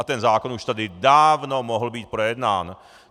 A ten zákon už tady dávno mohl být projednán.